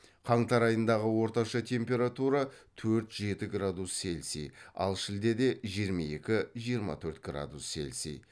қаңтар айындағы орташа температура төрт жеті градус селси ал шілдеде жиырма екі жиырма төрт градус селси